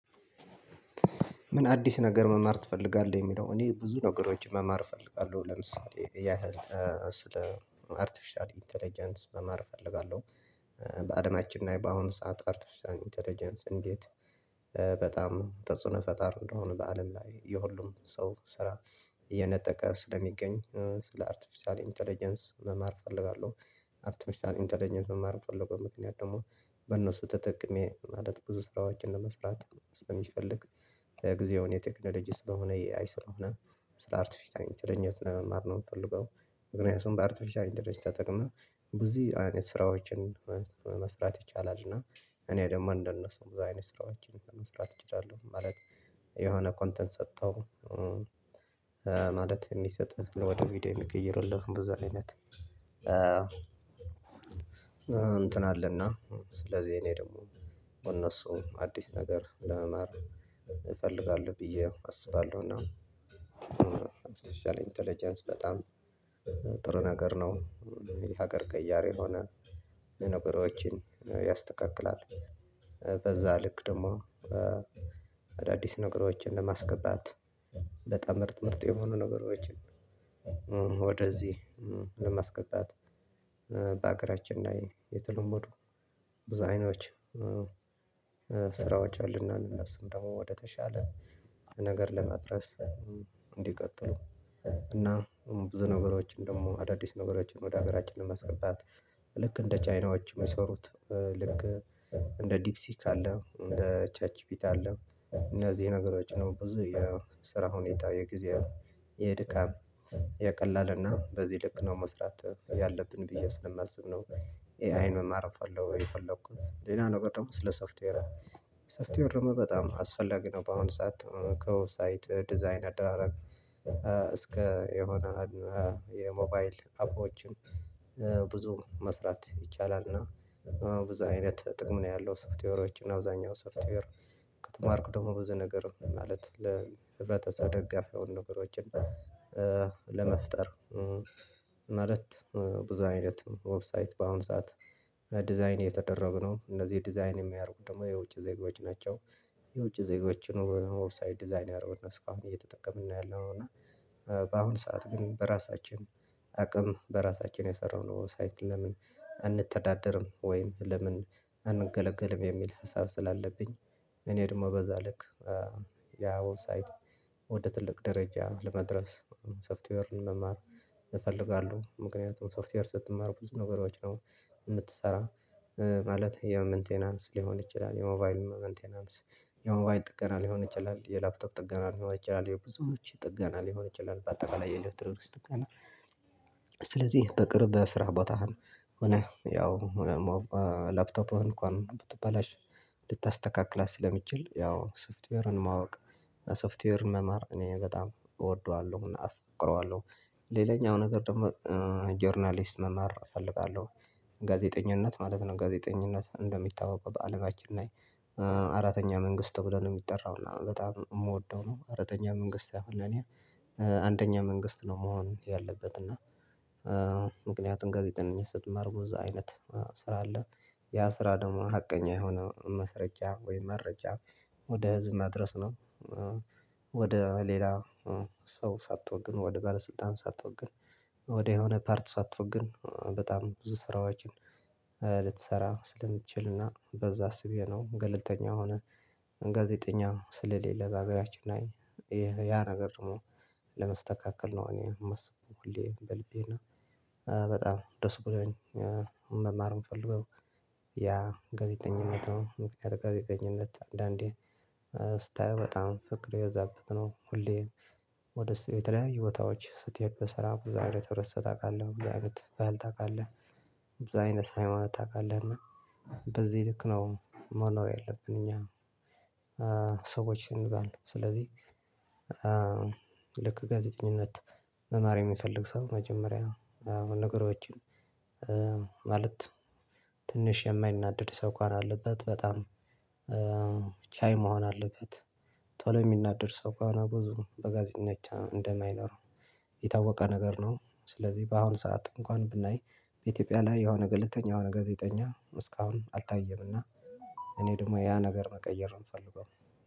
ምን? አዲስ ነገር መማር ትፈልጋለህ የሚለው እኔ ብዙ ነገሮች መማር እፈልጋለሁ ለምሳሌ ያህል አርቲፊሻል ኢንተለጀንስ መማር እፈልጋለሁ። በአድማችን ላይ በአሁኑ ሰዓት አርቲፊሻል ኢንተለጀንስ እንዴት በጣም ተጽዕኖ ፈጣሪ እንደሆነ በአለም ላይ የሁሉም ሰው ስራ እየነጠቀ ስለሚገኝ ስለ አርቲፊሻል ኢንተለጀንስ መማር እፈልጋለሁ። አርቲፊሻል ኢንተለጀንስ መማር የምፈልገው ምክንያት ደግሞ በእነሱ ተጠቅሜ ማለት ብዙ ሰራዋችን ለመስራት ስለሚፈልግ። ጊዜውን የቴክኖሎጂ ስለሆን የ ኤኣይ ስለሆነ ስለ አርትፊሻል ኢንተልጀንሲ ነው ስ መማር የምፈልገው። ምክኛያቱም በአርትፊሻል ኢንተልጀንሲ ተጠቅመን ብዙ አይነት ስራዎችን መስራት ይቻላል። እና እኔ ደግሞ እንደነሱ ብዙ አይነት ስራዎችን መስራት እችላለሁ። ማለት የሆነ ኮንተንት ሰጥተው ማለት የሚሰጥህን ወደ ቪዲዮ የሚቀይርልህን ብዙ አይነት እንትን አለና። ስለዚህ እኔ ደግሞ በእነሱ አዲስ ነገር ለመማር እፈልጋለሁ ብዬ አስባለሁ። እና አርተፍሻል ኢንተለጀንስ በጣም ጥሩ ነገር ነው። ሀገር ቀያሪ የሆነ ነገሮችን ያስተካክላል። በዛ ልክ ደግሞ አዳዲስ ነገሮችን ለማስገባት በጣም ምርጥ ምርጥ የሆኑ ነገሮችን። ወደዚህ ለማስገባት በሀገራችን ላይ የተለመዱ ብዙ አይኖች ስራዎች አሉና እነሱም ደግሞ ወደተሻለ ነገር ለመድረስ። እንዲቀጥሉ እና ብዙ ነገሮችን ደግሞ አዳዲስ ነበሮችን ወደ ሀገራችን ለማስገባት። ልክ እንደ ቻይናዎች የሚሰሩት ልክ እንደ ዲፕ ሲክ አለ እንደ ቻት ጂፒት አለ። እነዚህ ነገሮች ነው ብዙ የስራ ሁኔታ የጊዜ የድካም የቀላልና በዚህ ልክ ነው መስራት ያለብን ብዬ ስለማስብ ነው። ኤ አይን መማር የፈለኩት ሌላ ነገር ደግሞ ስለ ሶፍትዌር ሶፍትዌር ነው በጣም አስፈላጊ ነው። በአሁን ሰዓት ከወብ ሳይት ዲዛይን አደራረግ እስከ የሆነ የሞባይል አፖችን ብዙ መስራት ይቻላል። እና ብዙ አይነት ጥቅም ነው ያለው ሶፍትዌሮች እና አብዛኛው ሶፍትዌር ከተማርኩ ደግሞ ብዙ ነገር ማለት ለህብረተሰብ ደጋፊ የሆኑ ነገሮችን። ለመፍጠር ማለት ብዙ አይነት ዌብሳይት በአሁን ሰዓት ዲዛይን የተደረግነውን እነዚህ ዲዛይን የሚያደርጉት ደግሞ የውጭ ዜጎች ናቸው። የውጭ ዜጎች ወብ ሳይት ዲዛይን ያደረጉት ነው። እስካሁን እየተጠቀምን ያለው እና በአሁን ሰዓት ግን በራሳችን አቅም በራሳችን የሰራነው ሳይት ለምን አንተዳደርም? ወይም ለምን አንገለገልም? የሚል ሀሳብ ስላለብኝ። እኔ ደግሞ በዛልክ ያ ዌብሳይት ወደ ትልቅ ደረጃ ለመድረስ ሶፍትዌርን መማር እፈልጋለሁ። ምክንያቱም ሶፍትዌር ስትማሩ ብዙ ነገሮች ነው የምትሰራ ማለት የመንቴናንስ ሊሆን ይችላል የሞባይል መንቴናንስ የሞባይል ጥገና ሊሆን ይችላል የላፕቶፕ ጥገና ሊሆን ይችላል የብዙዎች ጥገና ሊሆን ይችላል በአጠቃላይ የኤሌክትሮ ድርጅት ጥገና። ስለዚህ በቅርብ ስራ ቦታህን ሆነ ያው ምናምን ላፕቶፕ እንኳን ብትባላሽ ልታስተካክላት ስለሚችል ያው ሶፍትዌርን ማወቅ። ሶፍትዌርን መማር እኔ በጣም እወደዋለሁና አፍቅረዋለሁ ሌላኛው ነገር ደግሞ ጆርናሊስት መማር እፈልጋለሁ። ጋዜጠኝነት ማለት ነው ጋዜጠኝነት እንደሚታወቀው በአለማችን አራተኛ መንግስት ተብሎ ነው የሚጠራው እና በጣም የምወደው ነው። አራተኛ መንግስት ያህል ለኔ አንደኛ መንግስት ነው መሆን ያለበት እና ምክንያቱም ጋዜጠኝ ስትማር ብዙ አይነት ስራ አለ። ያ ስራ ደግሞ ሀቀኛ የሆነ ማስረጃ ወይም መረጃ ወደ ህዝብ ማድረስ ነው። ወደ ሌላ ሰው ሳትወግን ወደ ባለስልጣን ሳትወግን ወደ የሆነ ፓርት ሳትወግን በጣም ብዙ ስራዎችን ልትሰራ ስለምትችልና በዛ አስቤ ነው። ገለልተኛ የሆነ ጋዜጠኛ ስለሌለ በሀገራችን ላይ ያን ነገር ደግሞ ለመስተካከል ነው። እኔ የማስበው ሁሌ በልቤና በጣም ድስ ብሎኝ መማር የምፈልገው ያ ጋዜጠኝነት ነው። ምክንያቱም ጋዜጠኝነት አንዳንዴ ስታየው በጣም ፍቅር የበዛበት ነው። ሁሌ ወደ ስትል የተለያየ ቦታዎች ስትሄድ በሰራ ብዙ አይነት ህብረተሰብ ታውቃለህ እንዴ በዓል ታውቃለህ? በዙ አይነት ሃይማኖት ታውቃለህ? እና በዚህ ልክ ነው መኖር ያለብን እኛ። ሰዎች ስንባል ስለዚህ ልክ ጋዜጠኝነት መማር የሚፈልግ ሰው መጀመሪያ ነው ነገሮችን ማለት ትንሽ የማይናደድ ሰው እንኳን አለበት። በጣም ቻይ መሆን አለበት። ቶሎ የሚናደድ ሰው ከሆኔ ብዙ በጋዜጠኝነት እንደማይኖረው የታወቀ ነገር ነው። ስለዚህ በአሁን ሰዓት እንኳን ብናይ በኢትዮጵያ ላይ የሆነ ገለልተኛ የሆነ ጋዜጠኛ እስካሁን አልታየምና። እኔ ደግሞ ያ ነገር መቀየር ነው የምፈልገው።